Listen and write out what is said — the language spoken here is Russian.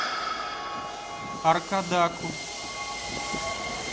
аркадаку